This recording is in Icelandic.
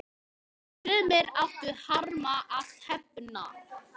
Sumir áttu harma að hefna.